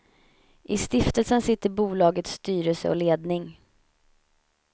I stiftelsen sitter bolagets styrelse och ledning.